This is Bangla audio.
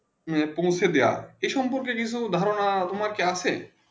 হেঁ পাহুচে দিয়া এই সম্পর্কে কিছু ধারণা তোমার আছে